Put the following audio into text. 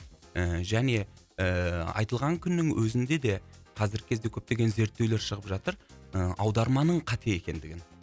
ііі және ііі айтылған күннің өзінде де қазіргі кезде көптеген зерттеулер шығып жатыр ы аударманың қате екендігін